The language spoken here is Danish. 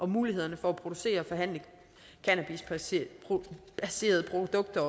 mulighederne for at producere og forhandle cannabisbaserede produkter